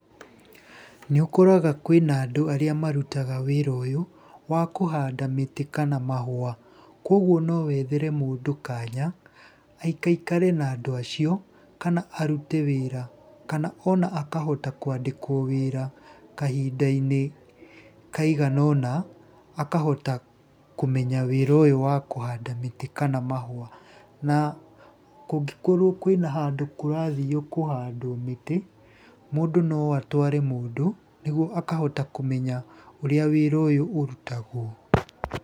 Nĩ ũkoraga kwĩna andũ arĩa marutaga wĩra ũyũ wa kũhanda mĩtĩ kana mahũa. Kuguo no wethere mũndũ kanya, aikaikare na andũ acio, kana arute wĩra, kana ona akahota kwandikwo wĩra kahinda-inĩ kaigana ũna, akahota kũmenya wĩra ũyũ wa kũhanda mĩtĩ kana mahũa. Na kũngĩkorwo kũina handũ kũrathio kũhandwo mĩtĩ, mũndũ no atware mũndũ, nĩguo akahota kũmenya ũrĩa wĩra ũyũ ũrutagwo.